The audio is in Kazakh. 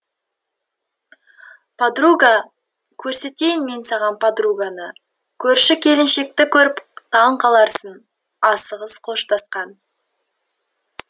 подруга көрсетейін мен саған подруганы көрші келіншекті көріп таң қаларсың асығыс қоштасқан